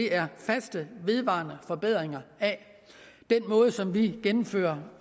er faste vedvarende forbedringer af den måde som vi indfører